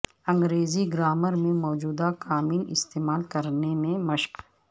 انگریزی گرامر میں موجودہ کامل استعمال کرنے میں مشق